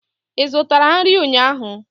Ị zụtara nri ụnyaahụ?